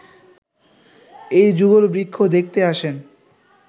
এই যুগলবৃক্ষ দেখতে আসেন